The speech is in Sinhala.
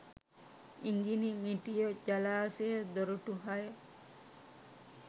ඉඟිණිමිටිය ජලාශය දොරටු හය